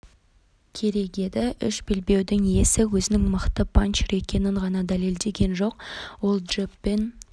керек еді үш белбеудің иесі өзінің ең мықты панчер екенін ғана дәлелдеген жоқ ол джебпен